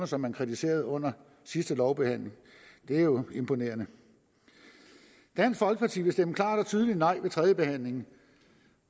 som man kritiserede under sidste lovbehandling det er jo imponerende dansk folkeparti vil stemme klart og tydeligt nej ved tredjebehandlingen